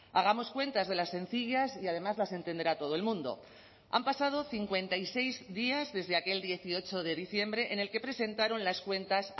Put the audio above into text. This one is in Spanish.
hagamos cuentas de las sencillas y además las entenderá todo el mundo han pasado cincuenta y seis días desde aquel dieciocho de diciembre en el que presentaron las cuentas